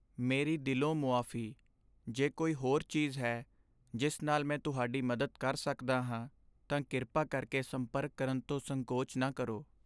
ਮੇਰੀ ਦਿਲੋਂ ਮੁਆਫ਼ੀ! ਜੇ ਕੋਈ ਹੋਰ ਚੀਜ਼ ਹੈ ਜਿਸ ਨਾਲ ਮੈਂ ਤੁਹਾਡੀ ਮਦਦ ਕਰ ਸਕਦਾ ਹਾਂ, ਤਾਂ ਕਿਰਪਾ ਕਰਕੇ ਸੰਪਰਕ ਕਰਨ ਤੋਂ ਸੰਕੋਚ ਨਾ ਕਰੋ।